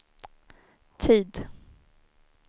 tid